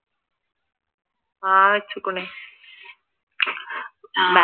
ആഹ്